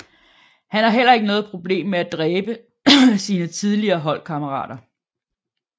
Han har heller ikke noget problem med at dræbe sine tidligere holdkammerater